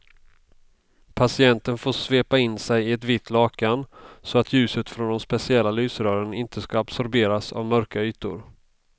Patienten får svepa in sig i ett vitt lakan så att ljuset från de speciella lysrören inte ska absorberas av mörka ytor.